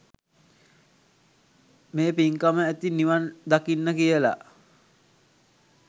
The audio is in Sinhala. මේ පින්කම ඇති නිවන් දකින්න කියලා.